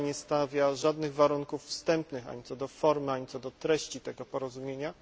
Rada nie stawia żadnych warunków wstępnych ani co do formy, ani co do treści tego porozumienia.